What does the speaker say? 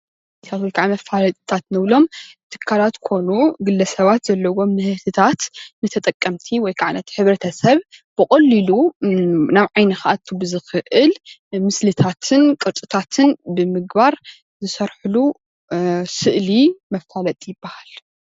መፋለጥታት ንብሎም ትካላት ኮኑ ግለሰባት ዘለዎም ምህርትታት ንተጠቀምቲ ወይ ከዓ ነቲ ሕብረተሰብ ብቀሊሉ ናብ ዓይኑ ክኣቱ ብዝኽእል ምስልታትን ቅርፅታትን ብምግባር ዝሰርሕሉ ስእሊ መፋለጢ ይበሃል።